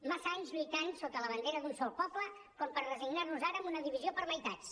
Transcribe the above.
massa anys lluitant sota la bandera d’un sol poble com per resignar nos ara amb una divisió per meitats